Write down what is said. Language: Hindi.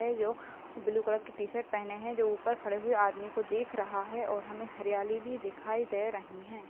है जो ब्लू कलर की टीशर्ट पहने है जो ऊपर खड़े हुए आदमी को देख रहा है और हमें हरियाली भी दिखाई दे रही हैं।